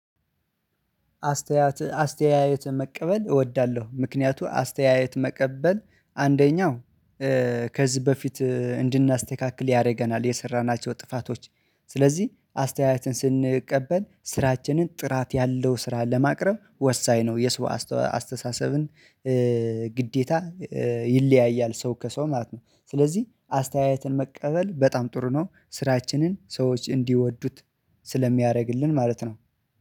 አስተያየት አስተያየት መቀበል እወዳለሁ ምክንያቱም አስተያየት መቀበል አንደኛው ከዚህ በፊት እንድናስተካክል ያደርገናል የሰራናቸው ጥፋቶች ስለዚህ አስተያየትን ስንቀበል ስራችንን ጥራት ያለው ስራ ለማቅረብ ወሳኝ ነው። የሰው አስተሳሰብን ግዴታ ይለያያል ሰው ከሰው ማለት ነው። ስለዚህ አስተያየትን መቀበል በጣም ጥሩ ነው። ስራችንን ሰዎች እንዲወዱት ስለሚያረግልን ማለት ነው